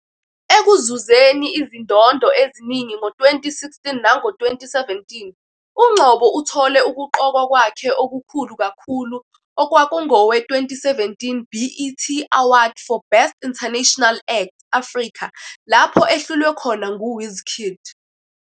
Ekuzuzeni izindondo eziningi ngo-2016 nango-2017, uNgcobo uthole ukuqokwa kwakhe okukhulu kakhulu okwakungowe- 2017 BET Award for Best International Act- Africa lapho ehlulwe khona nguWizkid.